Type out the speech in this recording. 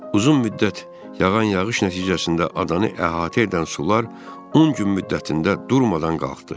Uzun müddət yağan yağış nəticəsində adanı əhatə edən sular 10 gün müddətində durmadan qalxdı.